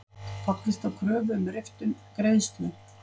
Fallist á kröfu um riftun greiðslu